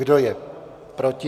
Kdo je proti?